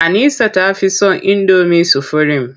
Anisa ta fi son indomi sufurim.